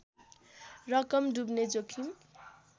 रकम डुब्ने जोखिम